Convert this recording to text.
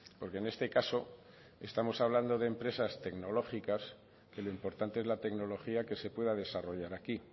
porque en este caso estamos hablando de empresas tecnológicas que lo importante es la tecnología que se pueda desarrollar aquí